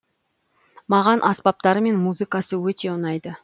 маған аспаптары мен музыкасы өте ұнайды